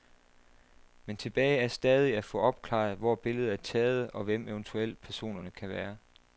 Men tilbage er stadig at få opklaret hvor billedet er taget og hvem eventuelt personerne kan være.